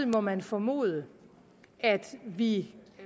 må man formode at vi